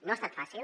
no ha estat fàcil